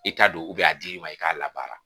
I t'a don a dir'i ma i k'a labaara